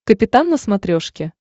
капитан на смотрешке